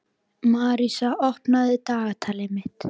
Marísa, opnaðu dagatalið mitt.